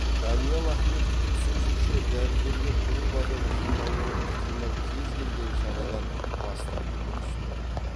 даниал ахметовтың сөзінше дәрігерлер көп адам жиналуы ықтимал кез келген шарадан бас тартуды ұсынуда